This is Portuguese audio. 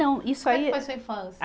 Não, isso aí. Como foi sua infância? A